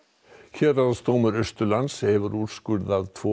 héraðsdómur Austurlands hefur úrskurðað tvo